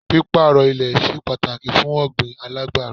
Pípàrọ̀ ilẹ̀ ṣe pàtàkì fún ọ̀gbìn alágbẹ́rọ.